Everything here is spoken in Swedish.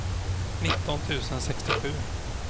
nitton tusen sextiosju